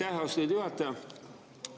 Aitäh, austatud juhataja!